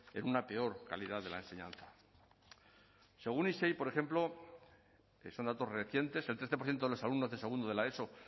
en una peor calidad de la enseñanza según isei por ejemplo que son datos recientes el trece por ciento de los alumnos de segundo de la eso